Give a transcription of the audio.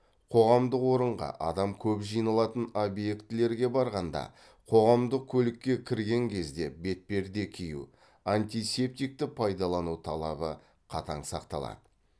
қоғамдық орынға адам көп жиналатын объектілерге барғанда қоғамдық көлікке кірген кезде бетперде кию антисептикті пайдалану талабы қатаң сақталады